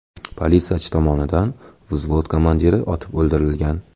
Politsiyachi tomonidan vzvod komandiri otib o‘ldirilgan.